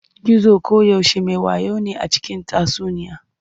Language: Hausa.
Gizo koyaushe me wayo ne a cikin tatsuniya.